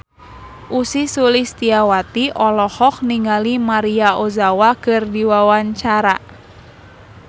Ussy Sulistyawati olohok ningali Maria Ozawa keur diwawancara